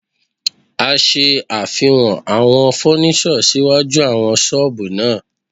A ṣe àfihàn àwọn fọ́níṣọ̀ síwájú àwọn ṣọ́ọ̀bù náà.